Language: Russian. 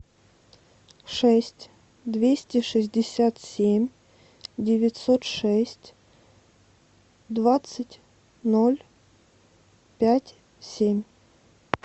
шесть двести шестьдесят семь девятьсот шесть двадцать ноль пять семь